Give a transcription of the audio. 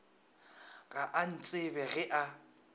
ga a ntsebe ge a